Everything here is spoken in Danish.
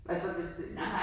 Altså hvis det hvis